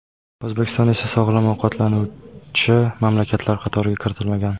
O‘zbekiston esa sog‘lom ovqatlanuvchi mamlakatlar qatoriga kiritilmagan.